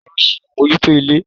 Ìyá ni ó ń ṣe àmójútó ilé.